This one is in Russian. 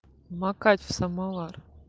макать в самовар